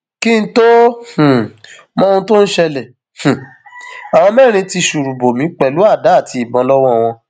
kí n tóó um mọ ohun tó ń ṣẹlẹ um àwọn mẹrin ti ṣùrù bò mí pẹlú àdá àti ìbọn lọwọ wọn